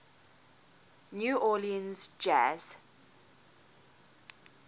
new orleans jazz